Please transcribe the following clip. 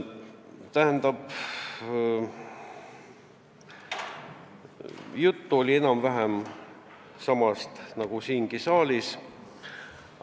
Tähendab, jutt oli enam-vähem samal teemal nagu siin saalis.